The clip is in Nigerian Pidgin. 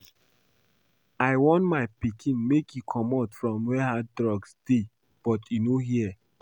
I warn my pikin make e comot from where hard drugs dey but e no hear